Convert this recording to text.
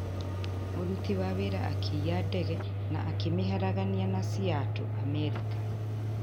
Mũruti wa wĩra akĩiya ndege na akĩmĩharagania na Seattle, Amerika